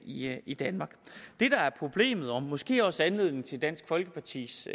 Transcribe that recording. i i danmark det der er problemet og måske også er anledningen til dansk folkepartis